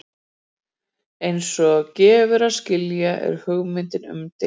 eins og gefur að skilja er hugmyndin umdeild